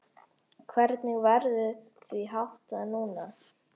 Hvernig verður því háttað núna?